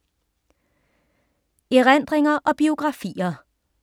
Erindringer og biografier